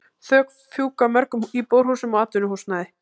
Þök fjúka af mörgum íbúðarhúsum og atvinnuhúsnæði.